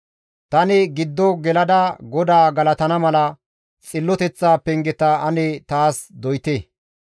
Tani giddo gelada GODAA galatana mala xilloteththa pengeta ane taas doyte!